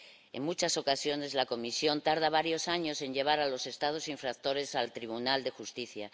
En muchas ocasiones, la Comisión tarda varios años en llevar a los Estados infractores al Tribunal de Justicia.